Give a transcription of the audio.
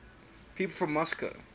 people from moscow